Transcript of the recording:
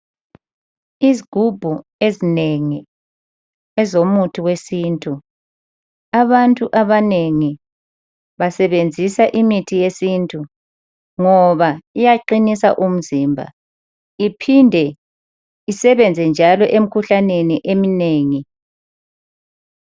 Izigubhu ezinengi ezomuthi wesintu. Abantu abanengi basebenzisa imithi yesintu ngoba iyaqinisa umzimba iphinde isebenze njalo emikhuhlaneni eminengi.